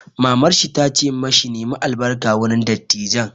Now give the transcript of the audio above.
Mamar shi ta ce ma shi 'Nemi albarka wurin dattijan'!